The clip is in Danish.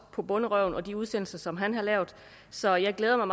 på bonderøven og de udsendelser som han har lavet så jeg glæder mig